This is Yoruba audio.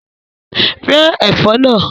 Rẹ́ ẹ̀fọ́ náà!